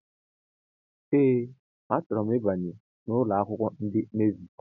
Ee achoro m ịbanye n' ụlọakwụkwọ ndị navi.